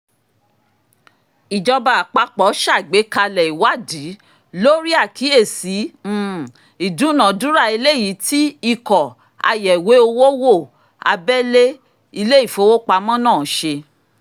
ìjọba àpapọ̀ ṣàgbékalẹ̀ ìwádìí lórí àkíyèsí um ìdúnàdúrà eléyìí tí ikọ̀ ayẹ̀wé owó wo abẹ́lé ilé ìfowópamọ́sí náà ṣe